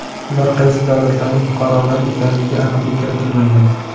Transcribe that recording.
Ular qaysi davlatlarning fuqarolari ekanligiga aniqlik kiritilmagan.